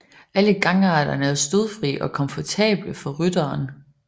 Alle gangarterne er stødfri og komfortable for rytteren